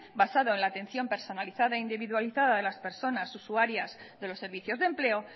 basado en la atención personalizada e individualizada de las personas usuarias de los servicios de empleo